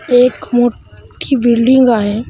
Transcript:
एक मोठी बिल्डिंग आहे.